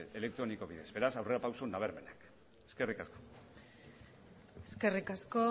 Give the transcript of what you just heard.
elektroniko bidez beraz aurrera pausu nabarmenak eskerrik asko eskerrik asko